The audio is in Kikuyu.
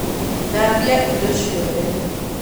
Thambia Indo ciothe